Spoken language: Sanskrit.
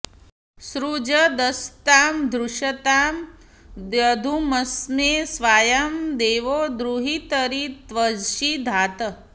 सृ॒जदस्ता॑ धृष॒ता दि॒द्युम॑स्मै॒ स्वायां॑ दे॒वो दु॑हि॒तरि॒ त्विषिं॑ धात्